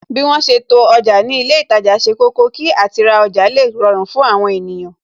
Bí wọn ṣe to ọjà ni ilé itaja ṣe kọ́kọ́, kí àti ra ọjà le rọrùn fún àwọn ènìyàn